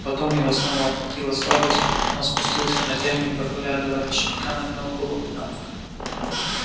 потом его снова охватила слабость он спустился на землю и поглядывая на щенка нагнул голову набок